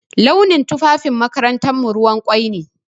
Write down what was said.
Launin tufafin makarantarmu ruwan ƙwai ne.